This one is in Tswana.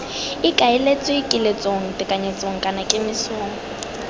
ikaeletswe kiletsong tekanyetsong kana kemisong